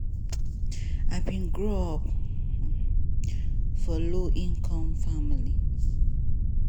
i bin grow up for low-income family.